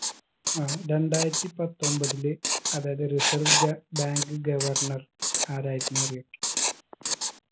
ആ രണ്ടായിരത്തി പത്തൊമ്പതില് അതായത് reserve ഗ bank governor ആരായിരുന്നറിയോ